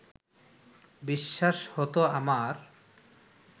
বিশ্বাস হত আমার